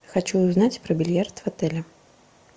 хочу узнать про бильярд в отеле